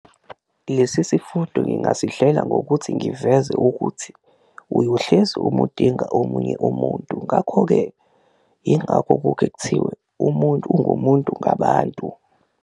Lesi sifundo ngingasihlela ngokuthi ngiveze ukuthi uyohlezi umudinga omunye umuntu ngakho-ke, ingako kuke kuthiwe umuntu ungumuntu ngabantu.